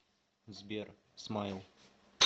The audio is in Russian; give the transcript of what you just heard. сбер смайл